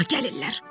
Bura gəlirlər.